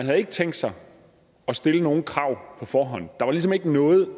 havde tænkt sig at stille nogen krav på forhånd der var ligesom ikke noget